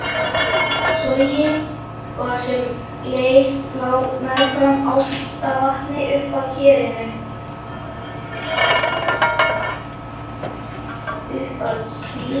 Sogi og sem leið lá meðfram Álftavatni og uppað Kerinu.